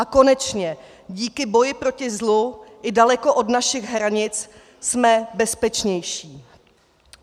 A konečně díky boji proti zlu i daleko od našich hranic jsme bezpečnější.